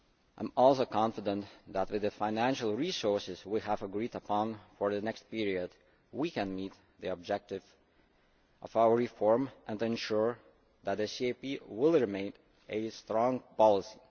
I am also confident that, with the financial resources we have agreed upon for the next period, we can meet the objective of our reform and ensure that the CAP will remain a strong policy.